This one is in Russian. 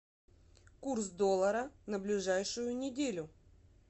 курс доллара на ближайшую неделю